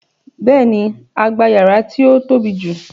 Béèni, a gba yàrá tí ó tóbi jù